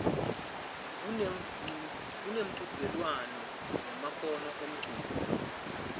kunemchudzelwano ngemakhono emculo